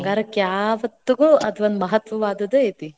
ಬಂಗಾರ್ಕ ಯಾವತ್ತಿಗೂ ಅದೊಂದ ಮಹತ್ವವಾದದ್ದ ಐತಿ.